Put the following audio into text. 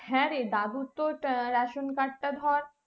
হ্যাঁ রে দাদুর তো ration card টা ধর